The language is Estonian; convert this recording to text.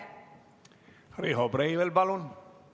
Riho Breivel, palun!